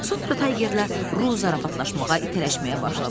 Sonra Taygerlə Ru zarafatlaşmağa, itələməyə başladılar.